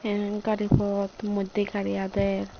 iyan gari pot moddhe gari adey.